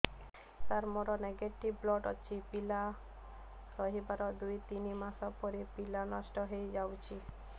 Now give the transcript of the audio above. ସାର ମୋର negative blood ଅଛି ପିଲା ରହିବାର ଦୁଇ ତିନି ମାସ ପରେ ପିଲା ନଷ୍ଟ ହେଇ ଯାଉଛି